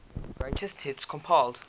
greatest hits compilation